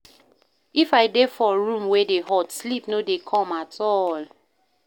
If I dey for room wey dey hot, sleep no go come at all.